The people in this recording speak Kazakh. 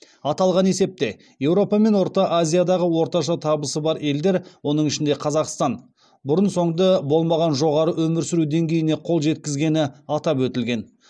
аталған есепте еуропа мен орта азиядағы орташа табысы бар елдер оның ішінде қазақстан бұрын соңды болмаған жоғары өмір сүру деңгейіне қол жеткізгені атап өтілген